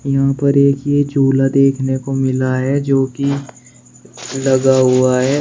यहां पर एक हि झूला देखने को मिला है जो की लगा हुआ है।